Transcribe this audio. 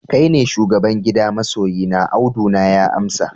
kai ne shugaban gida masoyina, Audu na ya amsa